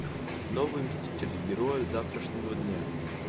новые мстители герои завтрашнего дня